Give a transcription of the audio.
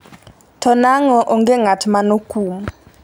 to nang'o onge ng'at manokum?